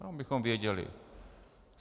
To abychom věděli.